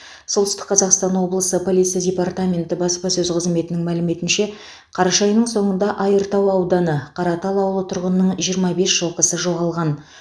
солтүстік қазақстан облысы полиция департаменті баспасөз қызметінің мәліметінше қараша айының соңында айыртау ауданы қаратал ауылы тұрғынының жиырма бес жылқысы жоғалған